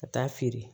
Ka taa feere